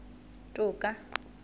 toka